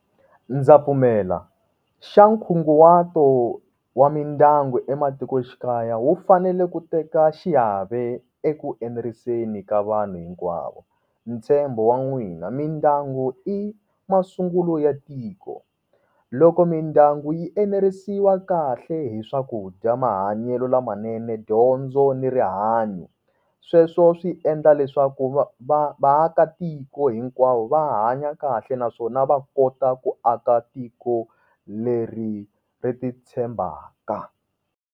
Ndza pfumela, xa nkunguhato wa mindyangu ematikoxikaya wu fanele ku teka xiave eku enerisa ka vanhu hinkwavo. Ntshembo wan'wina, mindyangu i masungulo ya tiko loko mindyangu yi enerisiwa kahle hi swakudya, mahanyelo lamanene, dyondzo ni rihanyo sweswo swi endla leswaku va vaakatiko hinkwavo va hanya kahle naswona va kota ku aka tiko leri ri ti tshembaka.